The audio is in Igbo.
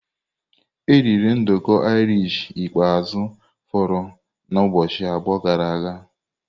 E eriri nduku Irish ikpeazụ foro na ụbọchị abụọ gara aga.